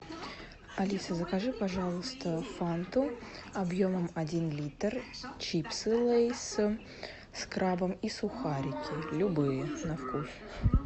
алиса закажи пожалуйста фанту объемом один литр чипсы лейс с крабом и сухарики любые на вкус